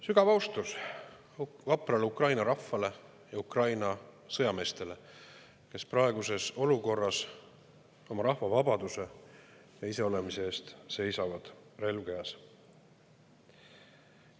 Sügav austus vaprale Ukraina rahvale ja Ukraina sõjameestele, kes praeguses olukorras oma rahva vabaduse ja iseolemise eest seisavad, relv käes.